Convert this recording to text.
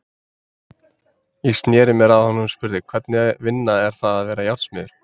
Ég sneri mér að honum og spurði: Hvernig vinna er það að vera járnsmiður?